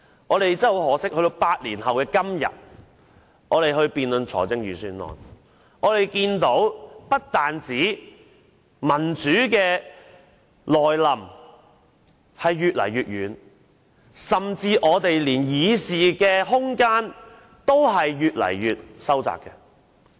很可惜，到了8年後的今天，我們在辯論預算案時，只看見民主不但越來越遠，甚至連議事空間也越收越窄。